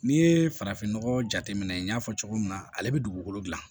N'i ye farafinnɔgɔ jate minɛ n y'a fɔ cogo min na ale bɛ dugukolo gilan